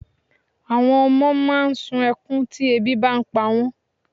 Àwọn ọmọ máà ń sun ẹkún tí ebi bá pa wọ́n.